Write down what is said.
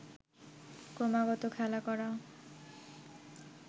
ক্রমাগত খেলা করা